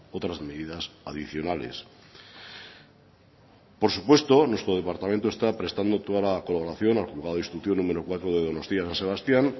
otras medidas adicionales por supuesto nuestro departamento está prestando toda la colaboración al juzgado de instrucción número cuatro de donostia san sebastián